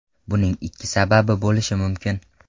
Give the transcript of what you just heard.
Buning ikki sababi bo‘lishi mumkin.